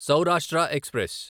Saurashtra express